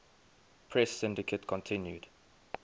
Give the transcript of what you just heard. press syndicate continued